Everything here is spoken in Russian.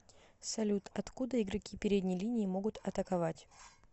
салют откуда игроки передней линии могут атаковать